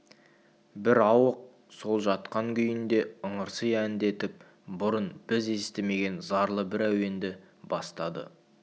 бір ауық сол жатқан күйінде ыңырси әндетіп бұрын біз естімеген зарлы бір әуенді бастады